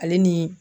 Ale ni